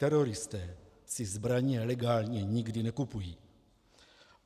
Teroristé si zbraně legálně nikdy nekupují.